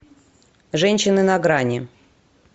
женщины на грани